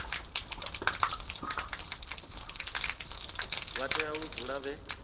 vha tea u dzula vhe